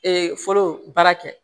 fɔlɔ baara kɛ